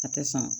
A tɛ san